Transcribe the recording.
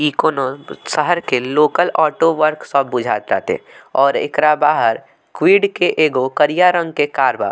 इ कोनो शहर के लोकल ऑटो वर्कशॉप बुझात बाटे और एकरा बाहर क्विड के एगो करिया रंग के कार बा।